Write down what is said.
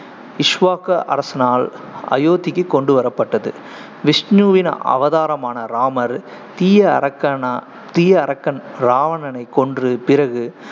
இக்ஷ்வாக அரசனால் அயோத்திக்குக் கொண்டுவரப்பட்டது விஷ்ணுவின் அவதாரமான ராமர், தீய அரக்கனா தீய அரக்கன் ராவணனைக் கொன்று பிறகு